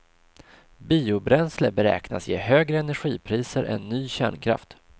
Biobränsle beräknas ge högre energipriser än ny kärnkraft.